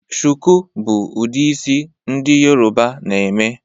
shuku bu udi isi ndi yoruba na eme